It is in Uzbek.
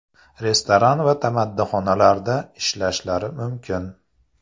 Restoran va tamaddixonalarda ishlashlari mumkin.